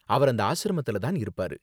அவர் அந்த ஆஷ்ரமத்துல தான் இருப்பாரு.